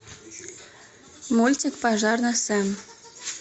мультик пожарный сэм